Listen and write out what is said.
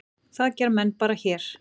Það gera menn bara hér.